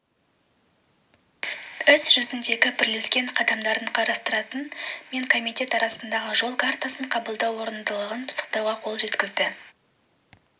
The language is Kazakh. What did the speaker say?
іс жүзіндегі бірлескен қадамдарын қарастыратын мен комитет арасындағы жол картасын қабылдау орындылығын пысықтауға қол жеткізді